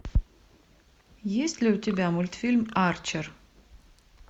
есть ли у тебя мультфильм арчер